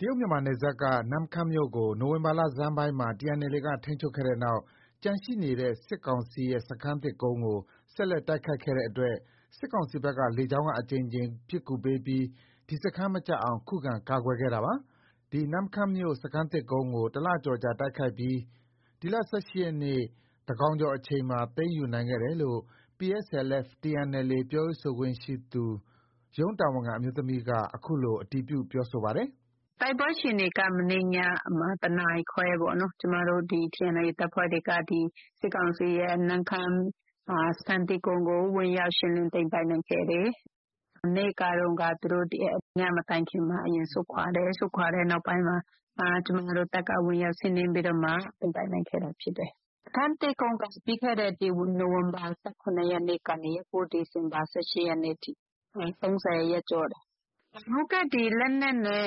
တရုတ်-မြန်မာနယ်စပ်က နမ့်ခမ်းမြို့ကို နိုဝင်ဘာ လဆန်းပိုင်းမှာ TNLA က ထိန်းချုပ်ခဲ့တဲ့နောက် ကျန်ရှိနေတဲ့ စစ်ကောင်စီရဲ့ စခန်းသစ်ကုန်းကို ဆက်လက်တိုက်ခိုက်ခဲ့တဲ့အတွက် စစ်ကောင်စီဘက်က လေကြောင်းက အကြိမ်ကြိမ် ပစ်ကူပေးပြီး ဒီစခန်း မကျအောင် ခုခံကာကွယ်ခဲ့တာပါ။ ဒီနမ့်ခမ်းမြို့ စခန်းသစ်ကုန်းကို တလကျော်ကြာ တိုက်ခိုက်ပြီး ဒီလ ၁၈ရက်နေ့ သန်းခေါင်ကျော်အချိန်မှာ သိမ်းယူနိုင်ခဲ့တယ်လို့ PSLF/TNLA ပြောရေးဆိုခွင့်ရှိသူ ရုံးတာဝန်ခံ အမျိုးသမီးက အခုလို အတည်ပြု ပြောပါတယ်။ “တိုက်ပွဲအခြေအနေက မနေ့ညမှာ တနာရီခွဲပေါ့။ ကျမတို့ TNLA တပ်ဖွဲ့တွေက စစ်ကောင်စီရဲ့ နမ့်ခမ်း စခန်းသစ်ကုန်းကို ဝင်ရောက် ရှင်းလင်းသိမ်းပိုက်နိုင်ခဲ့တယ်။ မနေ့ကတုံးက ညမတိုင်ခင်မှာသူတို့ အရင်ဆုတ်ခွာတယ်။ ဆုတ်ခွာတဲ့နောက်ပိုင်းမှာ ကျမတို့ တပ်က ဝင်ရောက် စီးနင်းပြီးတော့မှ သိမ်းပိုက်နိုင်ခဲ့တာ ဖြစ်တယ်။ စခန်းသစ်ကုန်းက ပြီးခဲ့တဲ့ နိုဝင်ဘာ ၁၇ ရက်ကနေ ဒီဇင်ဘာ ၁၈ ရက်နေ့ထိ ၃၀ ရက်ကျော်တယ်။ လက်နက်နဲ့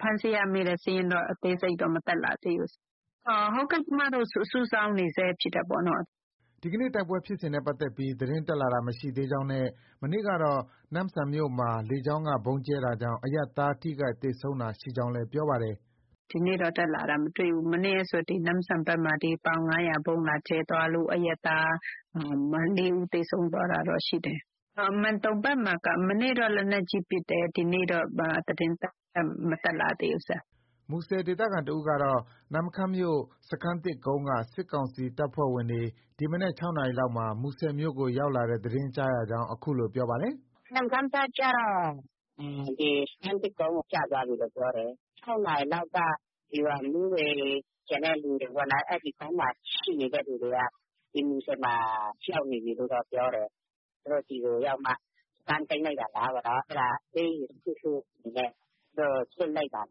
ဖမ်းဆီးရမိတဲ့ စာရင်းတော့ အသေးစိတ်တက်မလာသေးဘူး။ ကျမတို့ စုဆောင်းနေဆဲ ဖြစ်တယ် ပေါ့နော်။” ဒီနေ့ တိုက်ပွဲဖြစ်စဉ်နဲ့ပတ်သက်ပြီး သတင်းတက်လာတာ မရှိသေးကြောင်းနဲ့ မနေ့ကတော့ နမ့်ဆန်မြို့မှာ လေကြောင်းက ဗုံးကြဲတာကြောင့် အရပ်သား ထိခိုက်သေဆုံးတာရှိကြောင်းလည်း ပြောပါတယ်။ “ဒီနေ့တော့ တက်လာတာ မတွေ့ဘူး။ မနေ့ကဆို နမ့်ဆန်ဘက်မှာ ပေါင် ၅၀၀ ဗုံးလာကြဲသွားလို့ အရပ်သား ၄ဦး သေဆုံးသွား တာတော့ ရှိတယ်။ မန်တုံဘက်မှာက မနေ့က လက်နက်ကြီးပစ်တယ်။ ဒီနေ့တော့ ဘာသတင်းမှ မတက်လာ သေးဘူး။” မူဆယ် ဒေသခံတဦးကတော့ နမ့်ခမ်းမြို့ စခန်းသစ်ကုန်းက စစ်ကောင်စီတပ်ဖွဲ့ဝင်တွေ ဒီမနက် ၆နာရီလောက်မှာ မူဆယ်မြို့ကို ရောက်လာတဲ့ သတင်း ကြားရကြောင်း အခုလို ပြောပါတယ်။ “နမ့်ခမ်းကကျတော့ စခန်းသစ်ကုန်း ကျသွားပြီလို့ ပြောတယ်။ ၆နာရီလောက်က ဒီဗျူဟာမှူးတွေ၊ ကျန်တဲ့လူတွေ ပေါ့နော် အဲဒီကုန်းမှာ ရှိနေတဲ့သူတွေက ဒီမူဆယ်မှာ ရောက်နေပြီလို့ တော့ ပြောတယ်။ သူတို့ ဒီကို ရောက်မှ စခန်းသိမ်းလိုက်တာလား ပေါ့နော်။ အဲဒါ အပေးအယူ တခုခုနဲ့ သူတို့ လွှတ်လိုက်တာ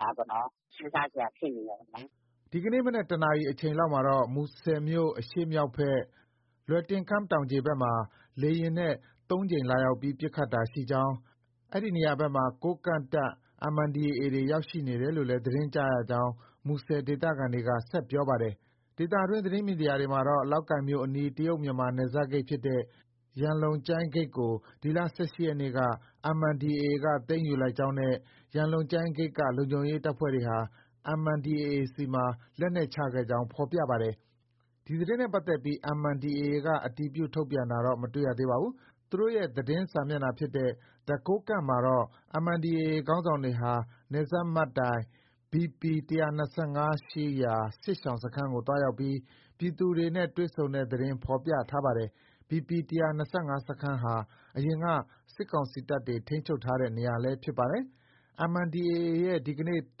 လားပေါ့နော်။ စဉ်းစားစရာ ဖြစ်နေတယ်ပေါ့နော်။ ” ဒီကနေ့ မနက် ၁နာရီအချိန် လောက်မှာတော့ မူဆယ်မြို့ အရှေ့မြောက်ဘက် လွယ်တင်ခမ်း တောင်ခြေဘက်မှာ လေယာဉ်နဲ့ ၃ ကြိမ်လာရောက်ပြီး ပစ်ခတ်တာ ရှိကြောင်း၊ အဲဒီနေရာဘက်မှာ ကိုးကန့်တပ် MNDAA တွေ ရောက်နေတယ်လို့လည်း သတင်းကြားရကြောင်း မူဆယ်ဒေသခံက ဆက်ပြောပါတယ်။ ဒေသတွင်း သတင်းမီဒီယာတွေမှာတော့ လောက်ကိုင်မြို့အနီး တရုတ်မြန်မာ နယ်စပ်ဂိတ်ဖြစ်တဲ့ ရန်လုံကျိုင်း ဂိတ်ကို ဒီလ ၁၈ ရက်နေ့က MNDAA သိမ်းယူလိုက်ကြောင်းနဲ့ ရန်လုံကျိုင်းဂိတ်က လုံခြုံရေး တပ်ဖွဲ့တွေဟာ MNDAA ဆီမှာ လက်နက်ချခဲ့ကြောင်း ဖော်ပြပါတယ်။ ဒီသတင်းနဲ့ပတ်သက်ပြီး MNDAA က အတည်ပြု ထုတ်ပြန်တာတော့ မတွေ့ရပါဘူး။ သူတိုရဲ့ သတင်းစာမျက်နှာ ဖြစ်တဲ့ The Kokang မှာတော့ MNDAA ခေါင်းဆောင်တွေဟာ နယ်စပ်မှတ်တိုင် BP ၁၂၅ ရှိ စစ်ရှောင်စခန်းကို သွားရောက်ပြီး ပြည်သူတွေနဲ့ တွေ့ဆုံတဲ့ သတင်းဖော်ပြထား ပါတယ်။ BP ၁၂၅ စခန်းဟာ အရင်က စစ်ကောင်စီတပ်တွေ ထိန်းချုပ်ထားတဲ့ နေရာလည်း ဖြစ်ပါတယ်။ MNDAA ရဲ့ ဒီနေ့ သ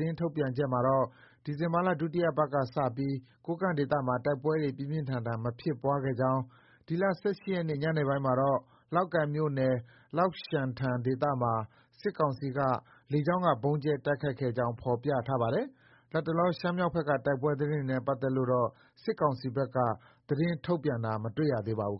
တင်းထုတ်ပြန်ချက်မှာ တော့ ဒီဇင်ဘာလ ဒုတိယပတ်က စတင်ပြီး ကိုးကန့်ဒေသမှာ တိုက်ပွဲ ပြင်းပြင်းထန်ထန် မဖြစ်ပွားခဲ့ ကြောင်း၊ ဒီလ ၁၈ ရက်နေ့ ညပိုင်းမှာတော့ လောက်ကိုင်မြို့နယ် လောက်ရှန်ထန် ဒေသမှာ စစ်ကောင်စီက လေကြောင်းက ဗုံးကြဲတိုက်ခိုက်ခဲ့ကြောင်း ဖော်ပြထားပါတယ်။ လတ်တလော ရှမ်းမြောက်ဘက်က တိုက်ပွဲသတင်းတွေနဲ့ ပတ်သက်လို့တော့ စစ်ကောင်စီဘက်က သတင်းထုတ်ပြန်တာ မတွေ့ရသေးပါဘူး